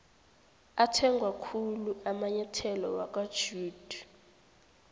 athengwakhulu amainyetholo wakwajedu